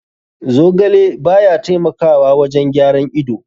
Zogale baya taimakawa wajen gyaran ido.